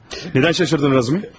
Niyə təəccübləndin Razumihin?